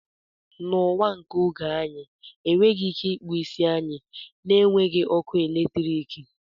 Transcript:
Na ụwa nke oge a anyị enweghị ike ịkpụ isi anyị na-enweghị ọkụ eletrik